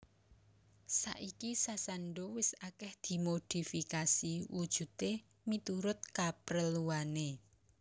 Saiki sasando wis akeh dimodifikasi wujude miturut kapreluane